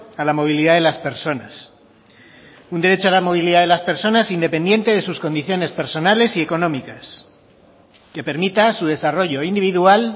a la movilidad de las personas un derecho a la movilidad de las personas independiente de sus condiciones personales y económicas que permita su desarrollo individual